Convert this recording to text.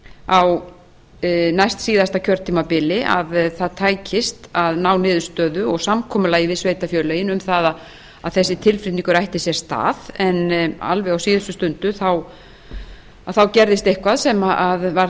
á næstsíðasta kjörtímabili að það tækist að ná niðurstöðu og samkomulagi við sveitarfélögin um að þessi tilflutningur ætti sér stað alveg á síðustu stundu gerðist eitthvað sem varð